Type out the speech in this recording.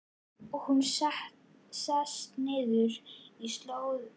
Og hún sest niður í slóðina.